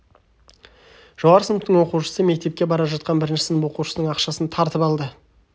жоғары сыныптың оқушысы мектепке бара жатқан бірінші сынып оқушысының ақшасын тартып алды